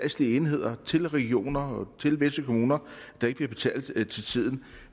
enheder til regioner og til visse kommuner der ikke bliver betalt til tiden